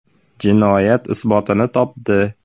Jinoyat isbotini topdi.